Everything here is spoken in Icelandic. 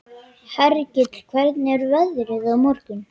Hergill, hvernig er veðrið á morgun?